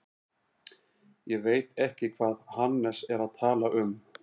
Ég veit ekki hvað Hannes er að tala um.